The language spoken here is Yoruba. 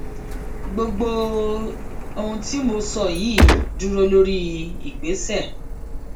gbogbo ohun tí mo sọ yìí dúró lórí ìgbésẹ